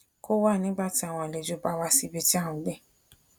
kó wà nígbà tí àwọn àlejò bá wá sí ibi tí à n gbé